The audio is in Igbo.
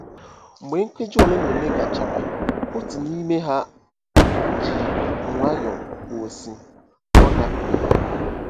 Mgbe nkeji ole na ole gachara, otu n'ime ha ji nwayọọ kwuo, sị, “Ọ gafeela...